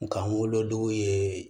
Nga n wolodugu ye